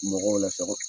Mɔgɔw la sago